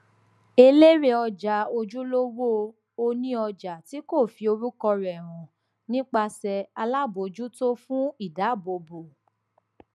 elérè ọjà ojúlówó oníọjà tí kò fi orúkọ rẹ hàn nípasẹ alábòjútó fún ìdáàbòbò